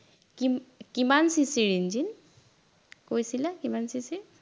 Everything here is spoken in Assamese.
কিম কিমান CC ৰ ইঞ্জিন, কৈছিলা কিমান CC ৰ